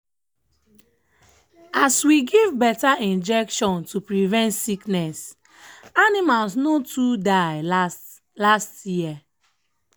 as we give better injection to prevent sickness animals no too die last last year.